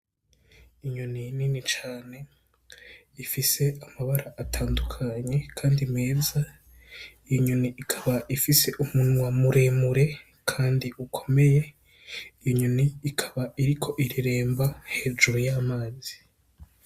Inyoni nini cane, ifise amabara atandukanye kandi meza, iyo nyoni ikaba ifise umunwa muremure kandi ukomeye, iyo nyoni ikaba iriko ireremba hejuru y'amazi.